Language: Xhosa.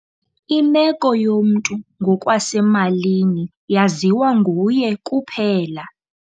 Imeko yomntu ngokwasemalini yaziwa nguye kuphela.